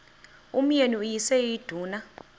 umyeni uyise iduna